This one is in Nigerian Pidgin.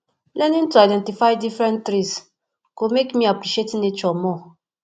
learning to identify different trees go make me appreciate nature more